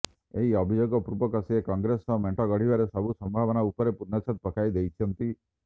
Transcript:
ଏହି ଅଭିଯୋଗ ପୂର୍ବକ ସେ କଂଗ୍ରେସ ସହ ମେଣ୍ଟ ଗଢିବାର ସବୁ ସମ୍ଭାବନା ଉପରେ ପୂର୍ଣଚ୍ଛେଦ ପକାଇ ଦେଇଛନ୍ତି